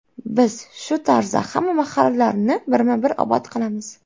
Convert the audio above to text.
Biz shu tarzda hamma mahallalarni birma-bir obod qilamiz”.